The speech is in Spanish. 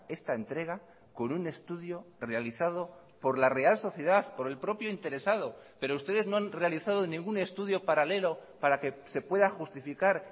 esta entrega con un estudio realizado por la real sociedad por el propio interesado pero ustedes no han realizado ningún estudio paralelo para que se pueda justificar